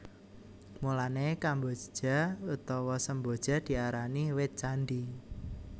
Mulané kemboja utawa semboja diarani wit candhi